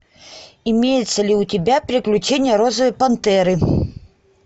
имеется ли у тебя приключения розовой пантеры